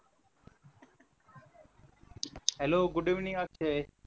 hello good evening Akshay